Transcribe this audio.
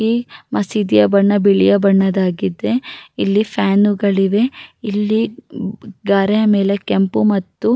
ಗುಲಾಬಿ ಬಣ್ಣದ ಮ್ಯಾಟ್ ಅನ್ನು ಹಾಕಿದ್ದಾರೆ ಇಲ್ಲಿ ಕುರ್ಚಿಗಳು ಕೂಡ ಇವೆ.